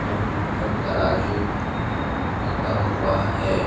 एवं ऊपर तराजू रखा हुआ है।